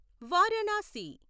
Varanasi